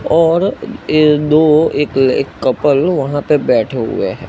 और ए दो एक एक कपल वहां पे बैठे हुए हैं।